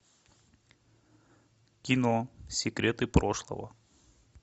кино секреты прошлого